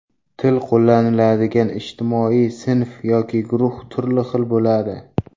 Til qo‘llaniladigan ijtimoiy sinf yoki guruh turli xil bo‘ladi.